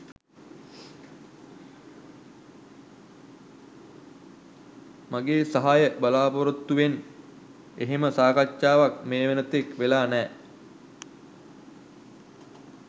මගේ සහාය බලාපොරොත්තුවෙන් එහෙම සාකච්ඡාවක් මේ වෙන තෙක් වෙලා නෑ